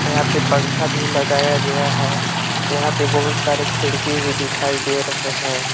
यहां पे पंखा भी लगाया गया है यहां पे बहुत सारे खिड़की भी दिखाई दे रहे हैं।